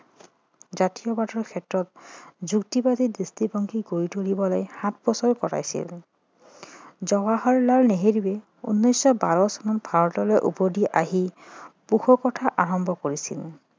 জাতীয়বাদৰ ক্ষেত্ৰত যুক্তিবাদী দৃষ্টিভংগী গঢ়ি তুলিবলৈ সাতবছৰ কটাইছিল জৱাহৰলাল নেহেৰুৱে উনৈছশ বাৰ চনত ভাৰতলৈ আহি পোষকতা আৰম্ভ কৰিছিলে